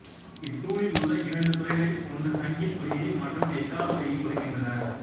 இத்தூணில் உள்ள இரண்டு துளைகளில் ஒன்று சங்கின் ஒலியையும் மற்றது எக்காள ஒலியையும் கொடுக்கின்றன